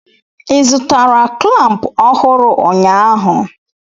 ị zụtara klamp ọhụrụ ụnyaahụ?